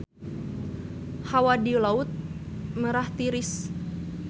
Hawa di Laut Merah tiris